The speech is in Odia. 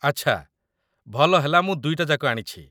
ଆଚ୍ଛା, ଭଲ ହେଲା ମୁଁ ଦୁଇଟା ଯାକ ଆଣିଛି